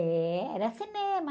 É, era cinema.